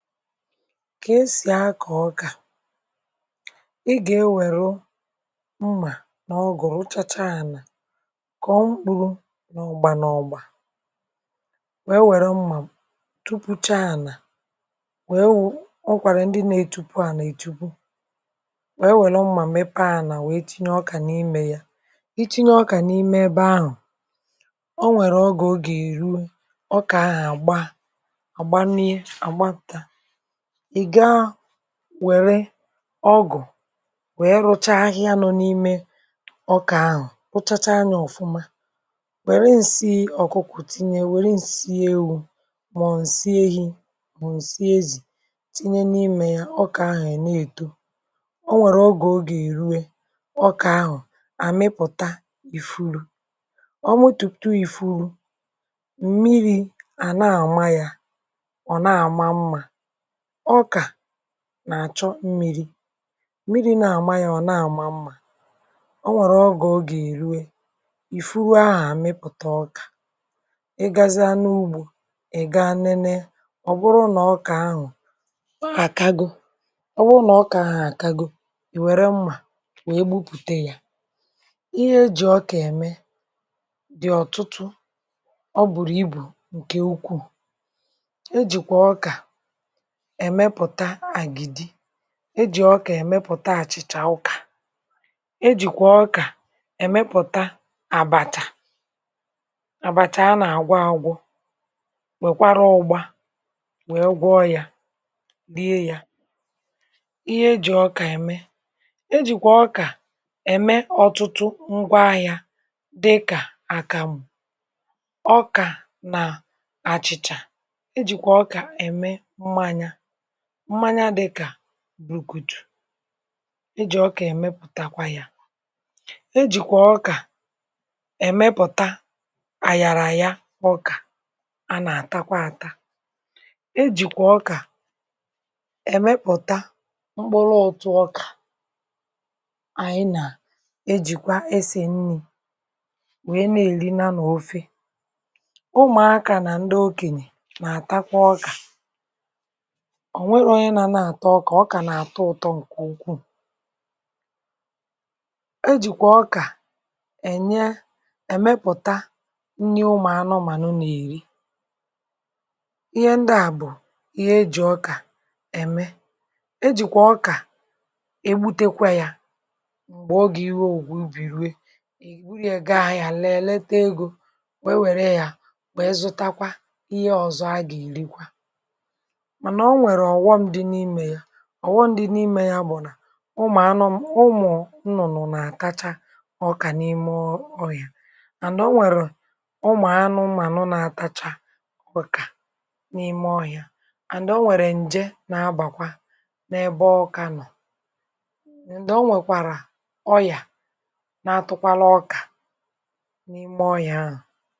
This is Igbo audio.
kà esì akọ̀ ọkà, ị gà-ewere mmà, n’ọgụ̀rụ̀, chacha ànà, kọ̀ mkpụrụ n’ọ̀gbà, nà ọ̀gbà, wee wère mmà, tupu cha ànà, wee wụ̇. ọ kwàrà ndị nȧ-ètupu ànà, ètupu, wee were mmà, mepe ànà, wee tinye ọkà n’imė yȧ. i tinye ọkà n’ime ebe ahụ̀, o nwèrè ọgà, ògè èruwe ọkà ahà, àgba àgbanie. ị̀ gaa wẹ̀rẹ ọgụ̀, wẹ̀e rụcha, ahịa nọ n’ime ọkà ahụ̀, pụchacha anyȧ ọ̀fụma. wẹ̀rẹ nsị ọ̀kụkụ̀, tinye, wẹ̀e nsị ewu. mà ọ̀ nsị ehi̇, mà ọ̀ nsị ezì, tinye n’ime ya. ọkà ahụ̀ ya na-èto. o nwèrè ọgụ̀, ogè ìrue, ọkà ahụ̀ àmịpụ̀ta ìfuru, ọ mụtụ̀pụ̀tu ìfuru mmiri̇. à na-àma ya, ọ̀ na-àma mmȧ. ọkà nà-àchọ mmiri̇, mmiri̇ na-àmanya, ọ̀ na-àma mmȧ. um o nwèrè ọgà, ogè èrue, ì furuo ahà, àmịpụ̀ta ọkà. ị gazịa n’ugbȯ, ị̀ ga nene, ọ̀ bụrụ nà ọkà ahụ̀ akago. ọ̀ bụrụ nà ọkà ahụ̀ akago, ị̀ wère mmà, wèe bupùte yȧ. ihe ejì ọkà ème, dị̀ ọ̀tụtụ. ọ bụ̀rụ̀ ibù ǹkè ukwuù, ejìkwà ọkà ị jị̀. ọ kà, ị̀mepụ̀ta àchịchà ụkà. e jìkwà ọkà ị̀mepụ̀ta àbàtà àbàtà, a nà-àgwa agwụ, nwèkwara ụgbȧ, nwee gwọọ̇ yȧ, n’ihe yȧ. ihe e jì ọkà ème, e jìkwà ọkà ème ọ̀tụtụ ngwa ahịȧ. dịkà àkàmụ̀ ọkà, nà àchịchà. mmanya dịkà burukutù, ijì ọkà ịmepụ̀takwa ya. ejìkwà ọkà ịmepụ̀ta àghàrà. ya bụ̀, ọkà a, nà-àtakwa aka. ejìkwà ọkà ịmepụ̀ta mkpụrụ ọtụ. um ọkà, anyị nà ejìkwa esì nni̇, wee na-èlinà n’ofè. ụmụ̀akà nà ndị okènyè, nà-àtakwa ọkà. ọ kà nà-àtọ ụ̀tọ. ǹkè ukwuù, e jìkwà ọkà ènye, èmepụ̀ta nni ụmụ̀anụ, mànà ọ nà-èri ihe ndịa, bụ̀ ihe ejì ọkà ème. e jìkwà ọkà ebutekwa yȧ, m̀gbè ọ gà-iro ògwu, bìruė, ègburu ya, gị ahụ̀ ya, lelee, ta egȯ, wee wère ya. bụ̀, ịzụtakwa ihe ọ̀zọ, a gà-èrikwa. ọ̀ wọm dị n’imė ya, bụ̀ nà ụmụ̀ anụ, ụmụ̀ nnụ̀nụ̀, n’àtacha ọkà n’ime ọrịà. and, o nwèrè ụmụ̀ anụ, ụmụ̀ anụ na-atacha ọkà n’ime ọrịà. and, o nwèrè ǹje na-abàkwa n’ebe ọkà nọ̀. ndị o nwèkwàrà ọyà, na-atụkwala ọkà n’ime ọrịà ahụ̀.